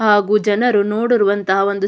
ಹಾಗು ಜನರು ನೋಡಿರುವಂಥ ಒಂದು ಸ್ --